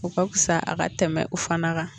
O ka fisa a ka tɛmɛ o fana kan